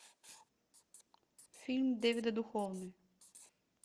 фильм дэвида духовны